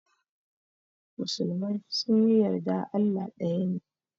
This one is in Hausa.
Musulmai sunyi yarda Allah daya ne.